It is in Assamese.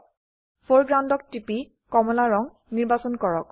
ফৰেগ্ৰাউণ্ড ক টিপি কমলা ৰঙ নিৰ্বাচন কৰক